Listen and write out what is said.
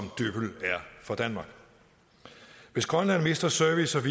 for danmark hvis grønland mister service og